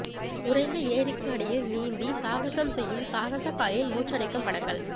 உறைந்த ஏரிக்கு அடியில் நீந்தி சாகசம் செய்யும் சாகசக்காரரின் மூச்சடைக்கும் படங்கள்